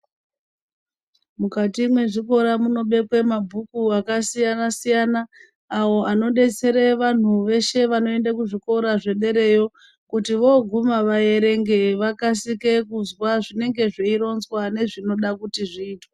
Mukati mezvikora munobekwe mabhuku akasiyana siyana awo anodetsere vanhu weshe vanoende kuzvikora zvedereyo kuti woguma vayerenge vakasike kuzwa zvinenge zveironzwa nezvinoda kuti zviitwe